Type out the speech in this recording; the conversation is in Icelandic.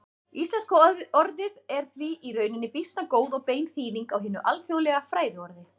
Íslenska orðið er því í rauninni býsna góð og bein þýðing á hinu alþjóðlega fræðiorði.